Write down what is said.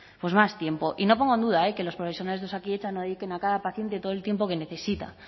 más tiempo y no pongo en duda eh que los profesionales de osakidetza no dediquen a cada paciente todo el tiempo que necesita